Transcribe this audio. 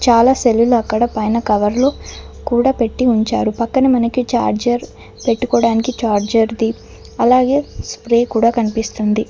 చాలా సెల్లు లు అక్కడ పైన కవర్ లో కూడా పెట్టి ఉంచారు పక్కన మనకి చార్జర్ పెట్టుకోవటానికి చార్జర్ ది అలాగే స్ప్రే కూడా కనిపిస్తుంది.